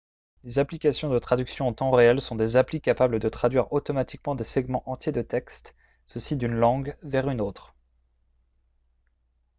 les applications de traduction en temps réel sont des applis capable de traduire automatiquement des segments entiers de texte ceci d'une langue vers une autre